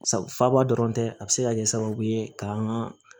Faaba dɔrɔn tɛ a bɛ se ka kɛ sababu ye ka an ka